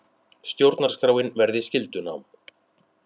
Stjórnarskráin verði skyldunám